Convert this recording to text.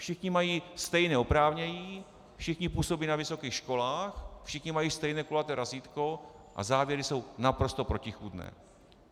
Všichni mají stejné oprávnění, všichni působí na vysokých školách, všichni mají stejné kulaté razítko, a závěry jsou naprosto protichůdné.